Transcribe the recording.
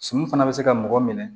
Sɔmi fana bɛ se ka mɔgɔ minɛ